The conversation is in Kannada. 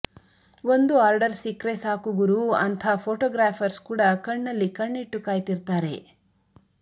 ಒಂದು ಆರ್ಡರ್ ಸಿಕ್ರೆ ಸಾಕು ಗುರೂ ಅಂಥಾ ಫೋಟೋಗ್ರಾಫರ್ಸ್ ಕೂಡ ಕಣ್ಣಲ್ಲಿ ಕಣ್ಣಿಟ್ಟು ಕಾಯ್ತಿರ್ತಾರೆ